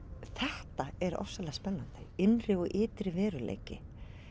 þetta er ofboðslega spennandi innri og ytri veruleiki